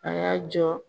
A y'a jɔ